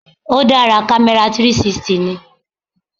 Ó dára, camera 360 ni.